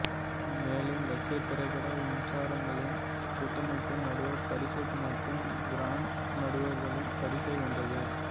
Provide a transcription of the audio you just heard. மேலும் ரஷ்ய திரைப்பட விமர்சகர்களின் கூட்டமைப்பு நடுவர் பரிசு மற்றும் கிராண்ட் நடுவர்களின் பரிசை வென்றது